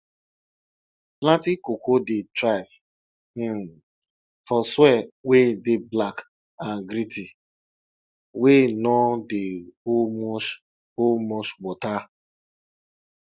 planting cocoa dey thrive um for soil wey dey black and gritty wey no dey hold much hold much water